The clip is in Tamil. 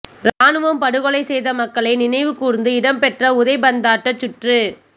இராணுவம் படுகொலை செய்த மக்களை நினைவு கூர்ந்து இடம்பெற்ற உதைபந்தாட்ட சுற்று